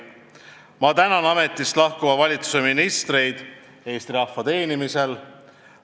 Ma tänan ametist lahkuva valitsuse ministreid Eesti rahva teenimise eest.